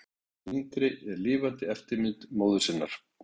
Alda yngri er lifandi eftirmynd móður sinnar.